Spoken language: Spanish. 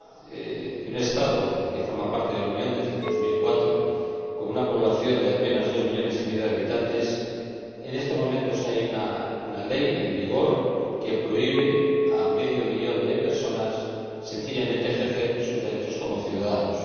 En un Estado que forma parte de la Unión desde 2004, con una población de apenas dos millones y medio de habitantes, en estos momentos hay una ley en vigor que prohíbe a medio millón de personas, sencillamente, ejercer sus derechos como ciudadanos.